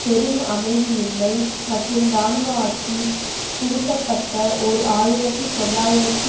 பெரும் அமைதியின்மை மற்றும் இராணுவ ஆட்சி புகுத்தப்பட்ட ஓர் ஆயிரத்தி தொள்ளாயிரத்து